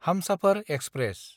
Humsafar express